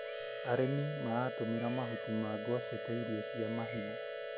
Arĩmi maratũmĩra mahuti ma ngwacĩ ta irio cia kahiũ.